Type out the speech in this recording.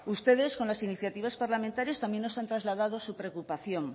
ustedes con las iniciativas parlamentarias también nos han trasladado su preocupación